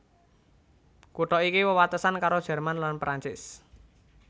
Kutha iki wewatesan karo Jerman lan Prancis